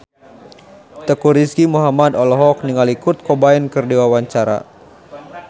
Teuku Rizky Muhammad olohok ningali Kurt Cobain keur diwawancara